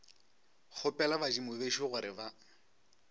kgopela badimo bešo gore ba